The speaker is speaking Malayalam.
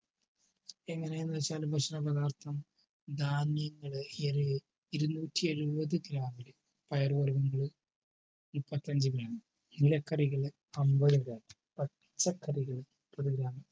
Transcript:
എങ്ങനെയെന്ന് വച്ചാൽ ഭക്ഷണ പദാർത്ഥം ധാന്യങ്ങൾ എന്നിവ ഇരുന്നൂറ്റിഎഴുപത് gram ഇൽ പയർ വർഗ്ഗങ്ങളും മുപ്പത്തഞ്ചു gram ഇല്ല കറികളിൽ അമ്പത് gram പച്ചക്കറികൾ മുപ്പത് gram